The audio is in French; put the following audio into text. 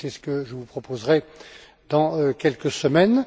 C'est ce que je vous proposerai dans quelques semaines.